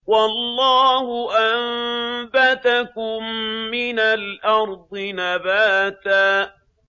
وَاللَّهُ أَنبَتَكُم مِّنَ الْأَرْضِ نَبَاتًا